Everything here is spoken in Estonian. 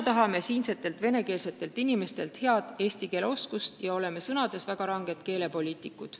Tahame, et siinsed venekeelsed inimesed oskaksid hästi eesti keelt, ja oleme sõnades väga ranged keelepoliitikud.